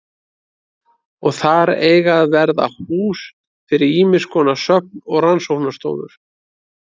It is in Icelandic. Og þar eiga að verða hús fyrir ýmiskonar söfn og rannsóknarstofur.